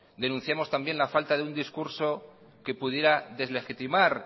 denunciamos también la falta de un discurso que pudiera deslegitimar